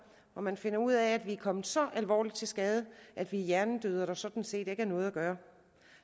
og man finder ud af at vi er kommet så alvorligt til skade at vi er hjernedøde og at der sådan set ikke er noget at gøre